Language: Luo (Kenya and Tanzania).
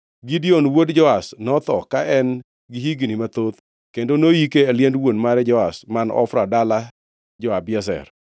Gideon wuod Joash notho ka en-gi higni mathoth kendo noyike e liend wuon mare Joash man Ofra dala jo-Abiezer.